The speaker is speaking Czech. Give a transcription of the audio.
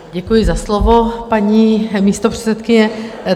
Děkuji za slovo, paní místopředsedkyně.